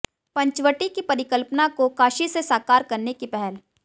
पंचवटी की परिकल्पना को काशी से साकार करने की पहल